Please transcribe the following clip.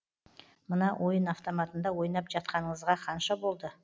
мына ойын автоматында ойнап жатқаныңызға қанша болды